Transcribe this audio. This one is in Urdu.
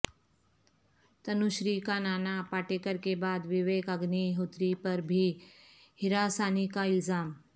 تنو شری کا نانا پاٹیکر کے بعد وویک اگنی ہوتری پر بھی ہراسانی کا الزام